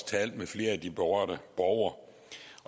talte med flere af de berørte borgere